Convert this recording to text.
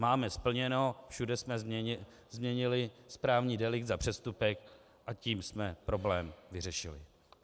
Máme splněno, všude jsme změnili správní delikt za přestupek, a tím jsme problém vyřešili.